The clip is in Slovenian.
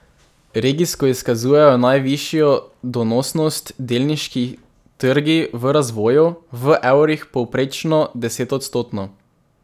Regijsko izkazujejo najvišjo donosnost delniški trgi v razvoju, v evrih povprečno desetodstotno.